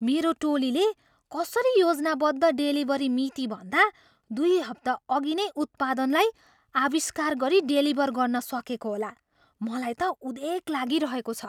मेरो टोलीले कसरी योजनाबद्ध डेलिभरी मितिभन्दा दुई हप्ता अघि नै उत्पादनलाई आविष्कार गरी डेलिभर गर्न सकेको होला? मलाई त उदेक लागिरहेको छ।